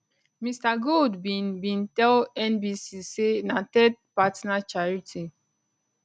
mr gold bin bin tell nbc say na third partner charity